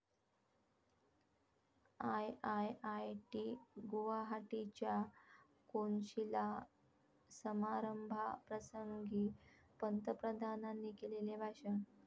I I I T गुवाहाटीच्या कोनशिला समारंभाप्रसंगी पंतप्रधानांनी केलेले भाषण